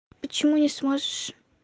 почему не сможешь